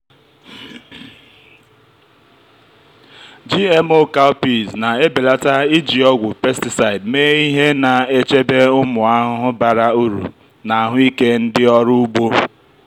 gmo cowpeas na-ebelata iji ọgwụ pesticide mee ihe na-echebe ụmụ ahụhụ bara uru na ahụike ndị ọrụ ugbo.